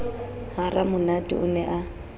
ha ramonate o ne a